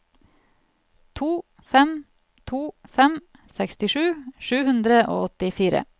to fem to fem sekstisju sju hundre og åttifire